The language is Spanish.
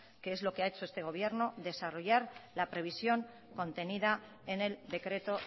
que es lo que ha hecho este gobierno que es desarrollar la previsión contenida en el decreto